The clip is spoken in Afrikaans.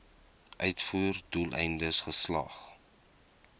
uitvoer doeleindes geslag